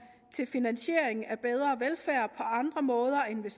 til finansiering af bedre velfærd på andre måder end ved